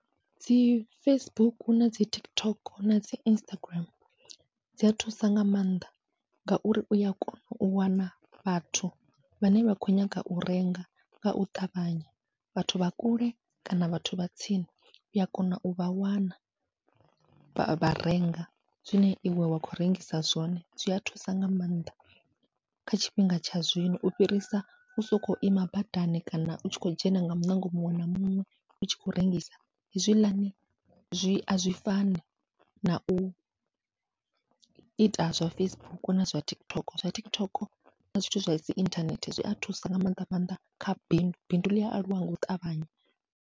Dzi Facebook, nadzi TikTok, nadzi Instagram dzia thusa nga maanḓa ngauri uya kona u wana vhathu vhane vha khou nyaga u renga ngau ṱavhanya, vhathu vha kule kana vhathu vha tsini uya kona uvha wana vha renga zwine iwe wa khou rengisa zwone, zwia thusa nga maanḓa kha tshifhinga tsha zwino u fhirisa u sokou ima badani kana utshi khou dzhena nga muṋango muṅwe na muṅwe utshi khou rengisa, hezwiḽani zwi azwi fani na uita zwa Facebook na zwa TikTok zwa TikTok na zwithu zwadzi inthanethe zwia thusa nga maanḓa maanḓa kha bindu, bindu ḽi aluwa ngau ṱavhanya.